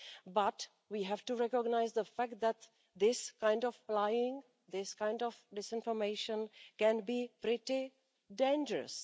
But we have to recognise the fact that this kind of lying, this kind of disinformation can be pretty dangerous.